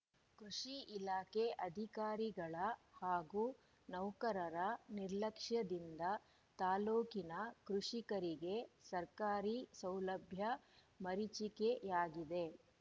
ಕೃಷಿ ಇಲಾಖೆ ಅಧಿಕಾರಿಗಳ ಹಾಗೂ ನೌಕರರ ನಿರ್ಲಕ್ಷ್ಯದಿಂದ ತಾಲೂಕಿನ ಕೃಷಿಕರಿಗೆ ಸರ್ಕಾರಿ ಸೌಲಭ್ಯ ಮರಿಚಿಕೆಯಾಗಿದೆ